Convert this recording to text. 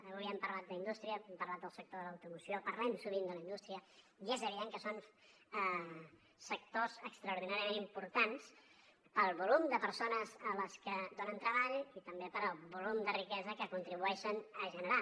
avui hem parlat d’indústria hem parlat del sector de l’automoció parlem sovint de la indústria i és evident que són sectors extraordinàriament importants pel volum de persones a les que donen treball i també pel volum de riquesa que contribueixen a generar